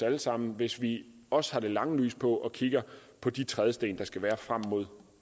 alle sammen hvis vi også har det lange lys på og kigger på de trædesten der skal være frem mod